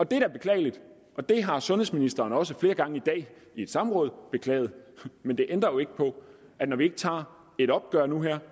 det er da beklageligt og det har sundhedsministeren også flere gange i dag i et samråd beklaget men det ændrer jo ikke på at når vi ikke tager et opgør nu og her